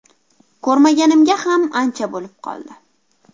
Ko‘rmaganimga ham ancha bo‘lib qoldi.